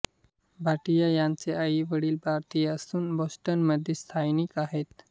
भाटिया यांचे आईवडील भारतीय असून बॉस्टनमध्ये स्थायिक आहेत